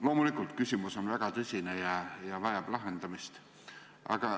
Loomulikult, küsimus on väga tõsine ja vajab lahendamist.